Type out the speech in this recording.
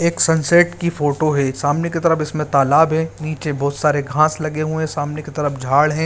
एक सनसेट की फोटो है सामने की तरफ इस में तालाब है नीचे बहुत सारे घास लगे हुए हैं सामने की तरफ झाड़ है।